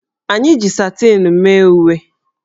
Anyị ji satịn mee uwe